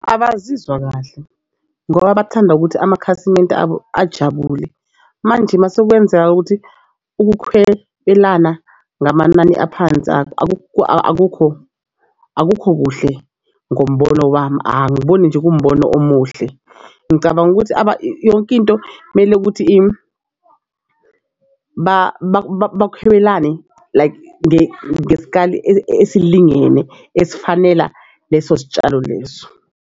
Abazizwa kahle ngoba bathanda ukuthi amakhasimende abo ajabule. Manje masekwenzeka ukuthi ukuhwebelana ngamanani aphansi akukho akukho buhle ngombono wami. Angiboni nje kuwumbono omuhle. Ngicabanga ukuthi yonke into kumele ukuthi like ngesikali esilingene esifanela leso sitshalo leso.